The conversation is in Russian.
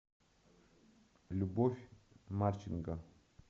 любовь марченко